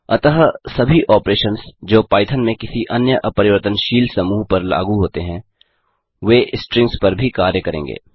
अतः सभी ऑपरेशंस जो पाईथन में किसी अन्य अपरिवर्तनशील समूह पर लागू होते हैं वे स्ट्रिंग्स पर भी कार्य करेंगे